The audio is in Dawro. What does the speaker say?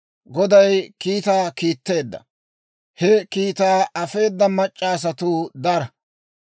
Goday kiitaa kiitteedda; he kiitaa afeeda mac'c'a asatuu dara.